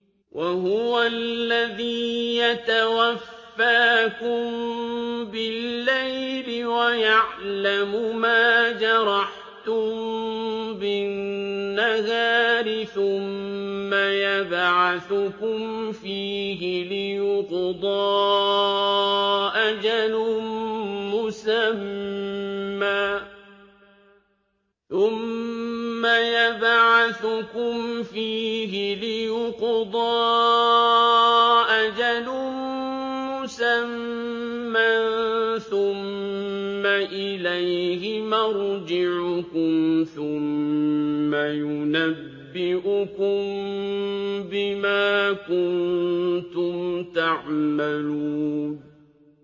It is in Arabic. وَهُوَ الَّذِي يَتَوَفَّاكُم بِاللَّيْلِ وَيَعْلَمُ مَا جَرَحْتُم بِالنَّهَارِ ثُمَّ يَبْعَثُكُمْ فِيهِ لِيُقْضَىٰ أَجَلٌ مُّسَمًّى ۖ ثُمَّ إِلَيْهِ مَرْجِعُكُمْ ثُمَّ يُنَبِّئُكُم بِمَا كُنتُمْ تَعْمَلُونَ